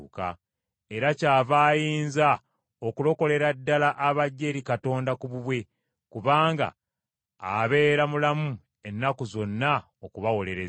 Era kyava ayinza okulokolera ddala abajja eri Katonda ku bubwe, kubanga abeera mulamu ennaku zonna okubawolereza.